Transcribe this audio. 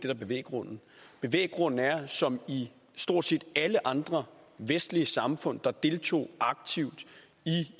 er bevæggrunden bevæggrunden er at som i stort set alle andre vestlige samfund der deltog aktivt i